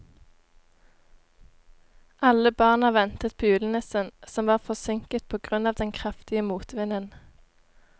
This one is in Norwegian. Alle barna ventet på julenissen, som var forsinket på grunn av den kraftige motvinden.